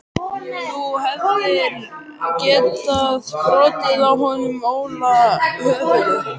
Þú hefðir getað brotið á honum Óla höfuðið.